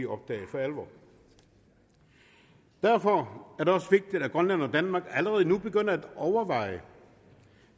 opdage for alvor derfor er det også vigtigt at grønland og danmark allerede nu begynder at overveje